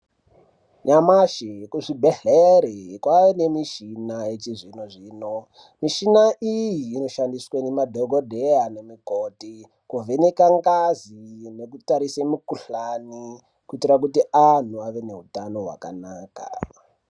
Nyamashi kuzvibhedhleri kwane mishina yechizvinozvino muchina iyi inoshandiswa nemadhokodheya nemukoti kuvheneka ngazi nekutarisa mukuhlani kuitira kuti vanhu vave neutano hwakanaka .